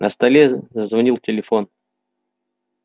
на столе зазвонил телефон